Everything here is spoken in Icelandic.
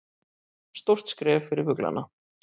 Stórt skref fyrir fuglana